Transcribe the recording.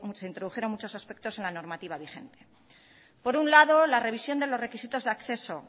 se introdujeron muchos aspectos en la normativa vigente por un lado la revisión de los requisitos de acceso